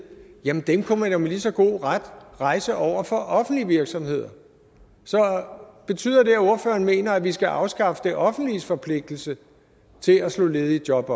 kunne man jo med lige så god ret rejse over for offentlige virksomheder så betyder det at ordføreren mener at vi skal afskaffe det offentliges forpligtelse til at slå ledige job